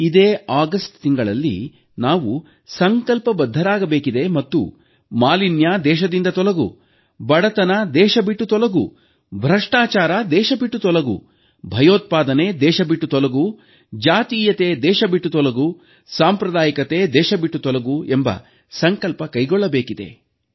ಇದೇ ಆಗಸ್ಟ್ ತಿಂಗಳಲ್ಲಿ ನಾವು ಸಂಕಲ್ಪಬದ್ಧರಾಗಬೇಕಿದೆ ಮತ್ತು ಮಾಲಿನ್ಯ ದೇಶದಿಂದ ತೊಲಗು ಬಡತನ ದೇಶಬಿಟ್ಟು ತೊಲಗು ಭ್ರಷ್ಟಾಚಾರ ದೇಶಬಿಟ್ಟು ತೊಲಗು ಭಯೋತ್ಪಾದನೆ ದೇಶಬಿಟ್ಟು ತೊಲಗು ಜಾತೀಯತೆ ದೇಶಬಿಟ್ಟು ತೊಲಗು ಎಂಬ ಸಂಕಲ್ಪ ಕೈಗೊಳ್ಳಬೇಕಿದೆ